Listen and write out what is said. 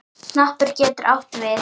Hnappur getur átt við